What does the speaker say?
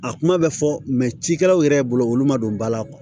A kuma bɛ fɔ cikɛlaw yɛrɛ bolo olu ma don ba la